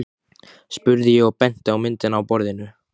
spurði ég og benti á myndina á borðinu.